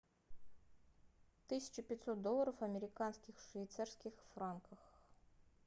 тысяча пятьсот долларов американских в швейцарских франках